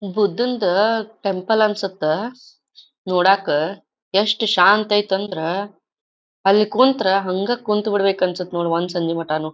ಬುದ್ದನ್ಡ್ temple ಅನ್ಸತ್ತ ನೋಡಾಕ ಎಸ್ಟ್ ಶಾಂತ ಆಯ್ತ್ ಅಂದ್ರ್ ಅಲ್ ಕುಂತ್ರ ಹಂಗ ಕುಂತ್ ಬಿಡ್ಬೇಕ ಅನ್ಸತ್ ನೋಡ ಒಂದ್ ಸಂಜಿ ಮಟಾನೂ.